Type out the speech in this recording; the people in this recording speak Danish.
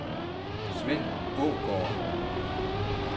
Sven Aagaard